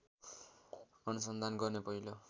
अनुसन्धान गर्ने पहिलो